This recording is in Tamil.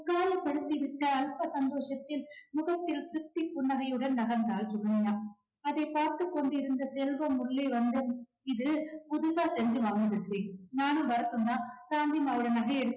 காயப்படுத்திவிட்ட அல்ப சந்தோஷத்தில் முகத்தில் குட்டி புன்னகையுடன் நகர்ந்தாள் சுகன்யா. அதைப் பார்த்துக் கொண்டிருந்த செல்வம் உள்ளே வந்து இது புதுசா செஞ்சு வாங்கி வந்த chain நகையை எடுத்துக்கிட்டு